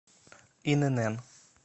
инн